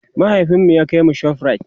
mahaifinmu ya kaimu shoprite